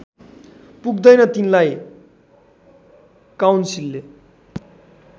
पुग्दैनन् तिनलाई काउन्सिलले